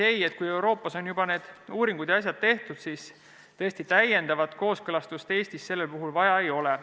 Ei, kui Euroopas on juba need uuringud ja asjad tehtud, siis täiendavat kooskõlastust Eestis sellel puhul vaja ei ole.